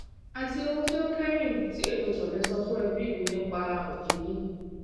ati ohun ti o kẹhin ti emi ko le sọ fun ẹbi mi nipa oshi yii